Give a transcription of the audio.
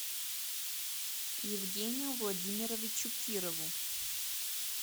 евгению владимировичу кирову